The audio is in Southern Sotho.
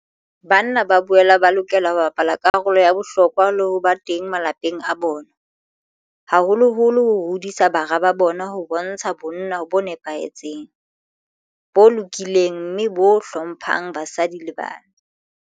Banna ba boela ba lokela ho bapala karolo ya bohlokwa le ho ba teng malapeng a bona, haholoholo ho hodiseng bara ba bona ho bontsha bonna bo nepahetseng, bo lokileng mme bo hlo mphang basadi le bana.